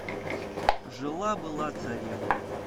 жила была царевна